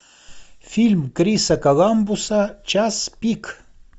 фильм криса коламбуса час пик